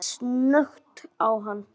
Jóel leit snöggt á hann.